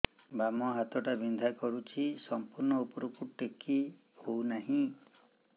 ବାମ ହାତ ଟା ବିନ୍ଧା କରୁଛି ସମ୍ପୂର୍ଣ ଉପରକୁ ଟେକି ହୋଉନାହିଁ